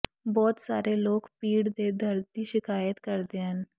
ਬਹੁਤ ਸਾਰੇ ਲੋਕ ਪੀੜ ਦੇ ਦਰਦ ਦੀ ਸ਼ਿਕਾਇਤ ਕਰਦੇ ਹਨ